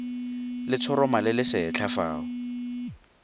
letshoroma le lesetlha fa o